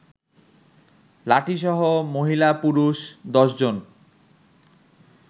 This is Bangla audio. লাঠিসহ মহিলা-পুরুষ ১০ জন